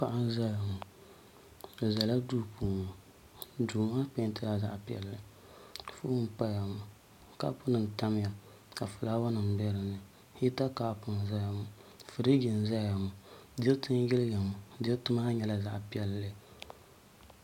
Paɣa n ʒɛya ŋo o ʒɛla duu puuni duu maa peentila zaɣ piɛlli foon n paya kaap nim n tamya ka fulaawa nim bɛ dinni hita kaap n ʒɛya maa firiji n ʒɛya maa diriti n yiliya maa diriti maa nyɛla zaɣ piɛlli